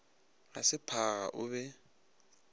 ga se phaga o be